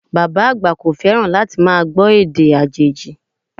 Bàbá àgbà kò fẹ́ràn láti máa gbọ́ èdè àjòjì